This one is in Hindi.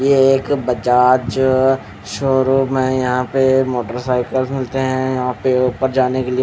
ये एक बजाज शोरूम में यहां पे मोटरसाइकल मिलते हैं यहां पे ऊपर जाने के लिए--